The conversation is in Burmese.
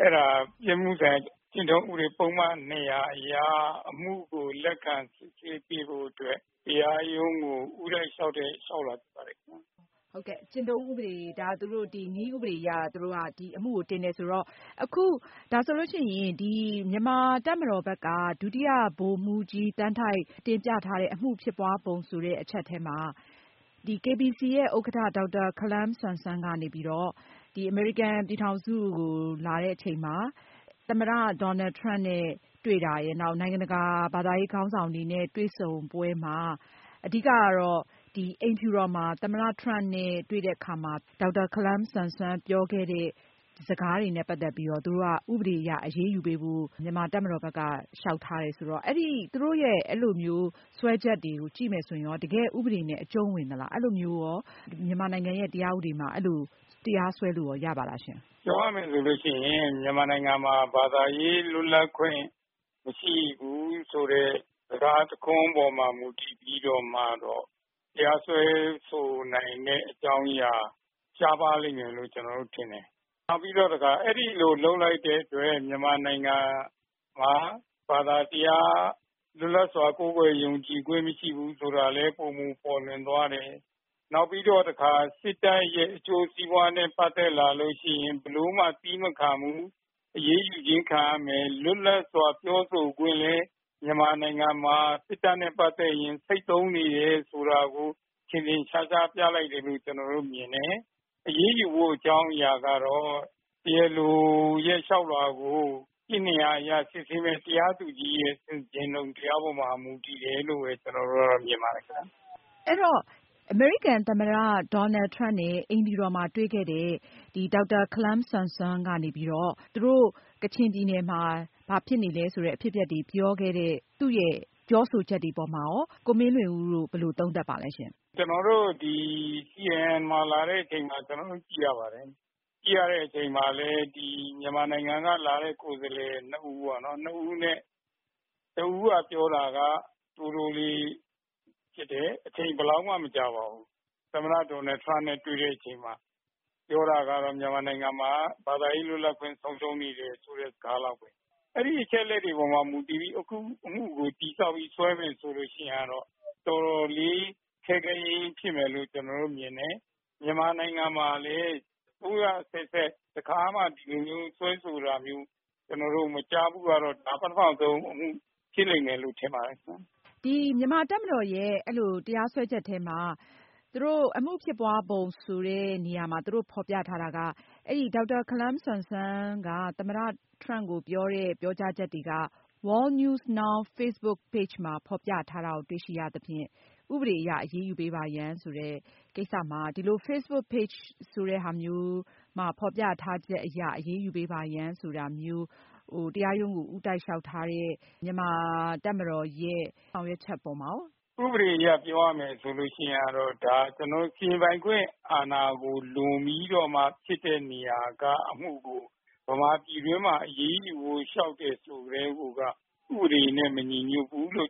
အဲဒါက ပြစ်မှုဆိုင်ရာကျင့်ထုံးဥပဒေပုဒ်မ ၂၀၀ အရ အမှုကို လက်ခံစစ်ဆေးပေးဖို့အတွက် တရားရုံးကို ဦးတိုက်လျောက်တဲ့ လျောက်လွှာဖြစ်ပါတယ်ခင်ဗျ။ သူတို့က နည်းဥပဒေအရ ဒီအမှုကို တင်တယ်ဆိုတော့ ဒါဆိုရင် မြန်မာတပ်မတော်ဘက်က ဒုတိယဗိုလ်မှူးကြီး သန်းထိုက် တင်ပြထားတဲ့ အမှုဖြစ်ပွားပုံဆိုတဲ့ အချက်မှာ KBC ဥက္ကဋ္ဌ ဒေါက်တာ ခါလမ်ဆမ်ဆွန် ကနေ အမေရိကန်ပြည်ထောင်စုကို လာတဲ့အချိန်မှာ သမ္မတ Donald Trump နဲ့ တွေ့တာရယ် နောက်တခါ နိုင်ငံတကာ ဘာသာရေးခေါင်းဆောင် တွေနဲ့ တွေ့ဆုံပွဲမှာ အဓိကတော့ အိမ်ဖြူတော်မှာ သမ္မတ Donald Trump နဲ့ တွေ့တဲ့အခါ ဒေါက်တာ ခါလမ်ဆမ်ဆွန် ပြောခဲ့တာနဲ့ ပတ်သက်ပြီးတော့ သူတို့က ဥပဒေအရ အရေးယူဖို့ မြန်မာတပ်မတော်က လျောက်ထားတယ်ဆိုတော့ သူတို့ စွဲချက်တွေကိုကြည့်ရင် တကယ့်ဥပဒေနဲ့ အကျုံးဝင်သလား။ မြန်မာနိုင်ငံတရားဥပဒေမှာ အဲဒီလို တရားစွဲလို့ရလား။ ပြောရမယ်ဆိုရင် မြန်မာနိုင်ငံမှာ ဘာသာရေးလွတ်လပ်ခွင့် မရှိဘူးဆိုတဲ့ စကားတခွန်းအပေါ်မှာ မူတည်ပြီးတော့ တရားစွဲဆိုနိုင်တဲ့အကြောင်းအရာ ရှားပါးလိမ့်မယ်လို့ ကျနော်ထင်တယ်။ နောက်ပြီးတော့ အဲဒီလို လုပ်လိုက်တဲ့အတွက် မြန်မာနိုင်ငံမှာ ဘာသာတရား လွတ်လပ်စွာကိုးကွယ်ယုံကြည်ခွင့်မရှိဘူးဆိုတာလည်း ပိုမိုပေါ်လွင်သွားတယ်။ နောက်ပြီးတော့ စစ်တပ်ရဲ့ အကျိုးစီးပွားနဲ့ ပတ်သက်လာရင် ဘယ်လိုမှ သည်းမခံဘူး ၊ အရေးယူတာခံရမယ် ၊ လွပ်လပ်စွာ ပြောဆိုခွင့်လည်း မြန်မာနိုင်ငံမှာ စစ်တပ်နဲ့ ပတ်သက်လို့ ဆိတ်သုဉ်းနေတယ်ဆိုတာကို ထင်ထင်ရှားရှားပြသလိုက်တယ်လို့ ကျနော်မြင်တယ်။ အရေးယူဖို့အကြောင်းအရာကတော့ တရားလိုရဲ့ လျောက်လွှာကို စစ်ဆေးမယ့် တရားသူကြီးရဲ့ ဆင်ခြင်တုံတရားအပေါ်မှာ မူတည်တယ်လို့ မြင်ပါတယ်ခင်ဗျ။ အိမ်ဖြူတော်မှာ သမ္မတ Donald Trump နဲ့ တွေ့တဲ့ ဒေါက်တာ ခါလမ်ဆမ်ဆွန် ကနေပြီးတော့ ကချင်ပြည်နယ်မှာ ဖြစ်နေတဲ့ အဖြစ်အပျက်တွေကို ပြောခဲ့တဲ့ သူ့ရဲ့ ပြောဆိုချက်တွေမှာရော ဘယ်လိုသုံးသပ်ပါသလဲ။ CNN မှာလာတဲ့အချိန် ကျနေ်ာတို့ ကြည့်ရပါတယ်။ မြန်မာနိုင်ငံက လာတဲ့ ကိုယ်စားလှယ် ၂ ဦးမှာ တဦးက ပြောတာက တိုးတိုးလေးဖြစ်တယ် အချိန်ဘယ်လောက်မှ မကြာပါဘူး။ သမ္မတ Donald Trump နဲ့ တွေ့တဲ့အချိန်မှာ ပြောတာကတော့ မြန်မာနိုင်ငံမှာ ဘာသာရေးလွတ်လပ်ခွင့် ဆုံးရှုံးနေတယ်ဆိုတဲ့ စကားလောက်ပဲ အဲဒီအချက်အလက်တွေမှာ မူတည်ပြီး အမှုကို တည်ဆောက်ပြီးဆွဲမယ်ဆိုရင်တော့ တော်တော်လေး ခဲယဉ်းမယ်လို့ ကျနေ်ာမြင်တယ်။ မြန်မာနိုင်ငံမှာလည်း အစိုးရအဆက်ဆက် တခါမှ ဒီလို စွဲဆိုတာမျိုး မကြားဖူးဘူး။ ဒါပထမဦးဆုံးအမှု ဖြစ်လိမ့်မယ်လို့ ထင်ပါတယ်ခင်ဗျ။ မြန်မာတပ်မတော်ရဲ့ တရားစွဲချက်မှာ အမှုဖြစ်ပွားပုံဆိုတဲ့နေရာမှာ ဖော်ပြထားတာက ဒေါက်တာ ခါလမ်ဆမ်ဆွန် က သမ္မတ Trump ကိုပြောတဲ့ ပြောကြားချက် တွေက World News Now Facebook Page မှာဖေါ်ပြထားတာကို တွေ့ရသဖြင့် ဥပဒေအရ အရေးယူပေးပါရန် ဆိုတဲ့ကိစ္စမှာ ဒီလို Facebook Page သက်သေအဖြစ်ယူပြီး အရေးယူဖို့ တရားရုံးကို ဦးတိုက်လျောက်ထားတဲ့ မြန်မာတပ်မတော်ရဲ့ ဆောင်ရွက်ချက်အပေါ်မှာရော ဘယ်လိုသုံးသပ်ပါသလဲ။ ဥပဒေအရ ပြောရမယ်ဆိုရင်တော့ ဒါက စီရင်ပိုင်ခွင့်အာဏာကို လွန်ပြီးတော့မှ ဖြစ်တဲ့နေရာက အမှုကို မြန်မာပြည်တွင်းမှာ အရေးယူဖို့ လျောက်တယ်ဆိုကတည်းက ဥပဒေနဲ့ မညီညွတ်ဘူးလို့